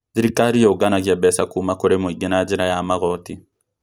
Thirikari yũganagia mbeca kũũma kũri mũingĩ na njĩra ya magoti